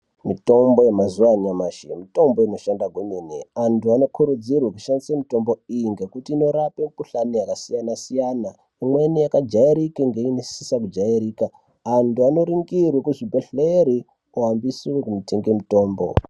Mitombo yemazuva anyamashi mitombo inoshanda kwemene. Antu anokurudzirwe kushandise mitombo iyi ngekuti inorape mikuhlani yakasiyana-siyana. Imweni yakajairike ngeinosisa kujairika. Antu anoringirwe kuzvibhehleri kuhambiswe kunotenge mutombo.